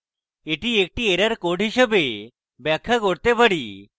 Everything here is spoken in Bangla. এটি একটি error code হিসাবে ব্যাখ্যা করতে পারি